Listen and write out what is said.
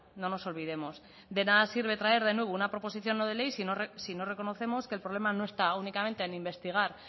no nos olvidemos de nada sirve traer de nuevo una proposición no de ley si no reconocemos que el problema no está únicamente en investigar